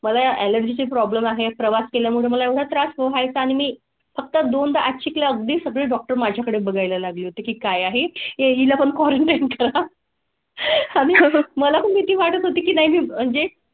Allergy ची problem आहे. प्रवास केल्या मुळे मला त्रास व्हाय चा आणि मी फक्त दोनदाच एक लाकडी सगळे डॉक्टरमाझ्याकडे बघायला लागली होती. काय आहे येईल आपण क्वारंटाईन करा. मला भीती वाटत होती की नाही म्हणजे?